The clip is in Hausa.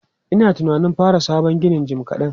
Ina tunanin fara sabon ginin jim kaɗan.